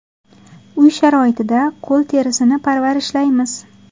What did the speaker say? Uy sharoitida qo‘l terisini parvarishlaymiz.